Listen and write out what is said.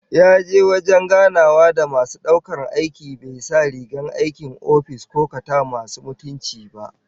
Yaje wajen ganawa da masu daukar aiki bai sa rigar aikin office ko kata masu mutunci ba